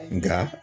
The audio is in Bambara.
Nka